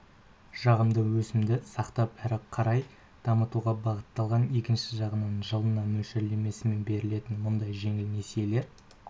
жағымды өсімді сақтап әрі қарай дамытуға бағыттталады екінші жағынан жылына мөлшерлемесімен берілетін мұндай жеңіл несиелер